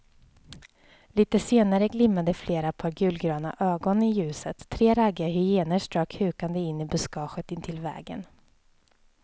Litet senare glimmade flera par gulgröna ögon i ljuset, tre raggiga hyenor strök hukande in i buskaget intill vägen.